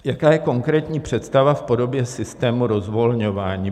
Jaká je konkrétní představa v podobě systému rozvolňování?